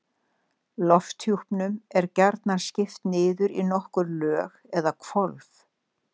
Lofthjúpnum er gjarnan skipt niður í nokkur lög eða hvolf.